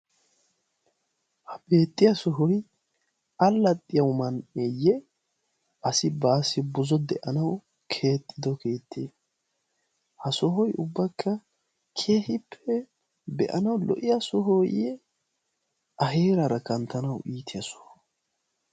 Ha beettiya sohoy allaxxiya man'eeyye? Asi baassi buzo de'anawu keexxido keettee? Ha sohoy ubbakka keehippe be'anawu lo''iya sohooyye A heeraara kanttanawu iitiya Soho?